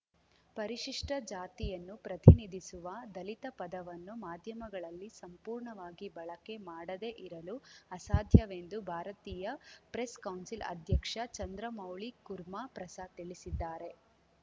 ಪರಿಶಿಷ್ಟಜಾತಿಯನ್ನು ಪ್ರತಿನಿಧಿಸುವ ದಲಿತ ಪದವನ್ನು ಮಾಧ್ಯಮಗಳಲ್ಲಿ ಸಂಪೂರ್ಣವಾಗಿ ಬಳಕೆ ಮಾಡದೇ ಇರಲು ಅಸಾಧ್ಯವೆಂದು ಭಾರತೀಯ ಪ್ರೆಸ್‌ ಕೌನ್ಸಿಲ್‌ ಅಧ್ಯಕ್ಷ ಚಂದ್ರಮೌಳಿ ಕುರ್ಮಾ ಪ್ರಸಾದ್‌ ತಿಳಿಸಿದ್ದಾರೆ